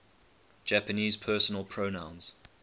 japanese personal pronouns